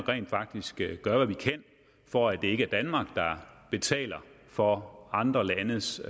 rent faktisk gør hvad vi kan for at det ikke er danmark der betaler for andre landes